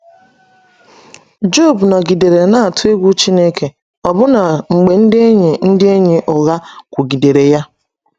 Job nọgidere na - atụ egwu Chineke ọbụna mgbe ndị enyi ndị enyi ụgha kwugidere ya